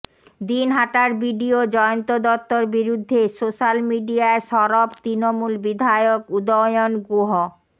দিনহাটার BDO Jayanta দত্তর বিরুদ্ধে social মিডিয়ায় সরব তৃণমূল বিধায়ক উদয়ন গুহ